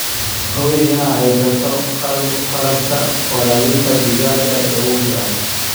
Hubi inaad haysato qalabka waraabinta digaaga ee ugu fiican.